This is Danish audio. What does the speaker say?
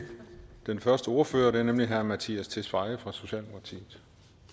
den første ordfører det er nemlig herre mattias tesfaye fra socialdemokratiet